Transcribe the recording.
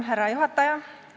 Härra juhataja!